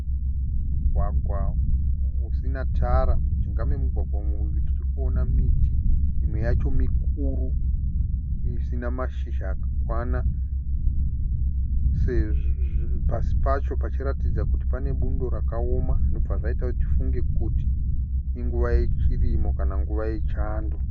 Mugwagwa usina tara. Mujinga memugwagwa mune miti Imwe yacho mikuru isina mashizha akakwana. Pasi pacho pachiratidza kuti pane bundo rakaoma zvinobva zvaita sekunge nguva yechirimo kana yechando.